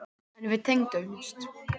En við tengdumst.